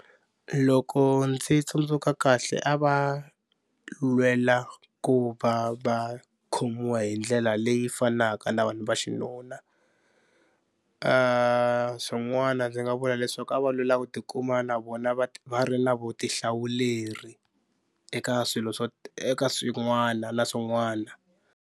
Loko ndzi tsundzuka kahle a va lwela ku va va khomiwa hi ndlela leyi fanaka na vanhu va xinuna. Swin'wana ndzi nga vula leswaku a va lwela ku tikuma na vona va ri na vutihlawuleri eka swilo swo eka swin'wana na swin'wana.